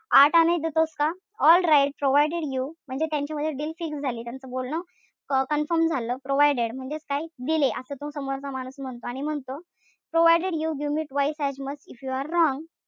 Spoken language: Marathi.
आठ आणे देतोस का? Alright provided you म्हणजे त्यांच्यामध्ये deal fix झाली त्यांचं बोलणं अं confirm झालं. Provided म्हणजेच काय? दिले असं तो समोरचा माणूस म्हणतो. आणि म म्हणतो provided you give me twice as much if you are wrong,